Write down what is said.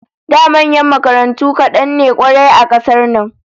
Da manyan makarantu kadan ne kwarai a kasar nan